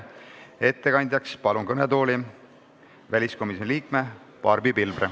Ettekandeks palun kõnetooli väliskomisjoni liikme Barbi Pilvre.